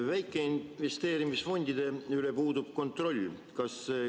Väikeinvesteerimisfondide üle puudub kontroll.